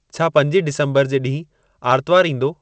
छा पंजीं डिसंबरु जे ॾींहुं आर्तवारु ईंदो